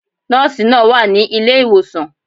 Nóòsi náà wà ní ilé ìwòsàn